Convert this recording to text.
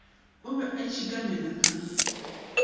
o be a itshekamela ka